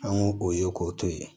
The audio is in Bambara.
An y'o o ye k'o to ye